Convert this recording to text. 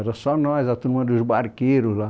Era só nós, a turma dos barqueiros lá.